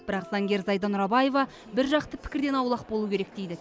бірақ заңгер зайда нұрабаева бір жақты пікірден аулақ болу керек дейді